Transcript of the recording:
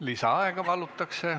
Lisaaega palutakse.